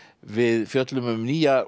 við fjöllum um nýja